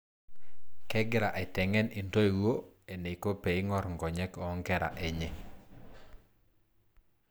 Kegira aiteng'en intoiwuo eneiko peing'or nkonyek oo nkera enye.